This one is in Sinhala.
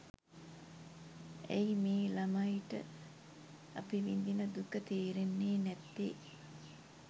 ඇයි මේ ළමයිට අපි විඳින දුක තේරෙන්නේ නැත්තේ